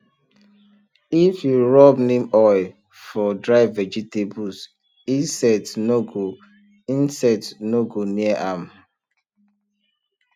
if you rub neem oil for dry vegetables insect no go insect no go near am